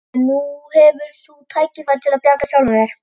En nú hefur þú tækifæri til að bjarga sjálfum þér.